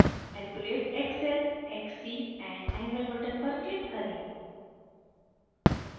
calculate xl xc and angle button पर click करें